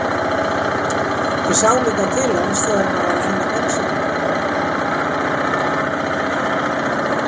Ég sá líka til hans þegar hann var að ræna bensíninu.